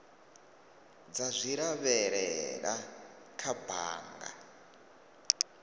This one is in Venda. dza zwi lavhelela kha bannga